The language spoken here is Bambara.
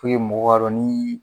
mɔgɔw k'a dɔ nii